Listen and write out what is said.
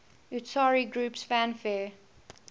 utari groups fanfare